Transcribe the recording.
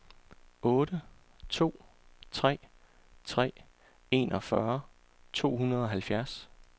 otte to tre tre enogfyrre to hundrede og halvfjerds